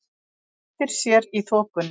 Veltir sér í þokunni.